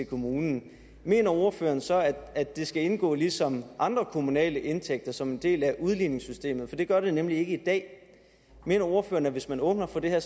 kommunen mener ordføreren så at det skal indgå ligesom andre kommunale indtægter som en del af udligningssystemet for det gør det nemlig ikke i dag mener ordføreren at hvis man åbner for det her